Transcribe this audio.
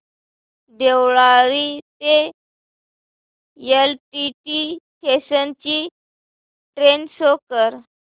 देवळाली ते LTT station ची train show कर